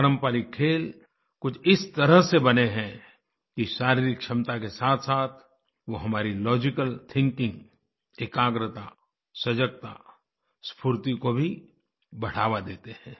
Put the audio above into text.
पारंपरिक खेल कुछ इस तरह से बने हैं कि शारीरिक क्षमता के साथसाथ वो हमारी लॉजिकल थिंकिंग एकाग्रता सजगता स्फूर्ति को भी बढ़ावा देते हैं